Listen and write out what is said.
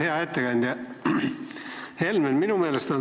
Hea ettekandja Helmen!